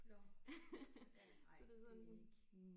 Nåh ja nej det er ikke